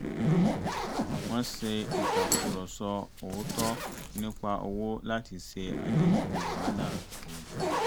wọ́n ṣe ìtàkùrọ̀sọ òótọ́ nípa owó láti ṣe àdínkù wàhálà àwùjọ